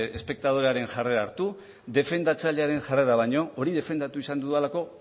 espektadorearen jarrera hartu defendatzailearen jarrera baino hori defendatu izan dudalako